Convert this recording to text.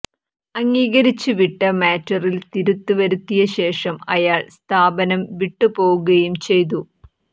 അംഗീകരിച്ച് വിട്ട മാറ്ററിൽ തിരുത്ത് വരുത്തിയ ശേഷം അയാൾ സ്ഥാപനം വിട്ടുപോകുകയും ചെയ്തു